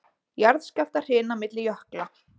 Jarðskjálftahrina milli jökla